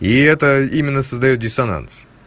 и это именно создаёт диссонанс